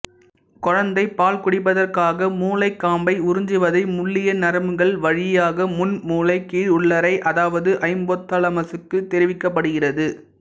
குழந்தை பால் குடிப்பதற்காக முலைக்காம்பை உறிஞ்சுவதை முள்ளிய நரம்புகள் வழியாக முன்மூளை கீழுள்ளறை அதாவது ஐப்போத்தாலமசுக்கு தெரிவிக்கப் படுகிறது